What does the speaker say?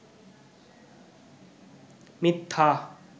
মিথ্যা